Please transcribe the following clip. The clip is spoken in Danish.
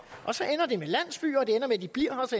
og så